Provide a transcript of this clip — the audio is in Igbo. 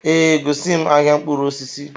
Ee, gosi m ahịa mkpụrụ osisi